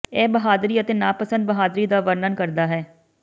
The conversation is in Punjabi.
ਇਹ ਬਹਾਦਰੀ ਅਤੇ ਨਾਪਸੰਦ ਬਹਾਦਰੀ ਦਾ ਵਰਨਨ ਕਰਦਾ ਹੈ